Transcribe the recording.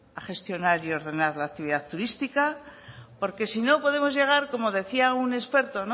a gestionar y ordenar la ciudad turística porque si no podemos llegar como decía un experto